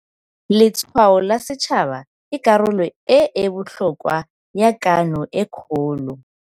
Letshwao la Setšhaba ke karolo e e botlhokwa ya Kano e Kgolo.